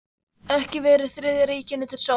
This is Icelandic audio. Ekki verið Þriðja ríkinu til sóma.